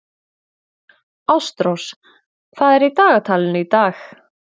Ástrós, hvað er í dagatalinu í dag?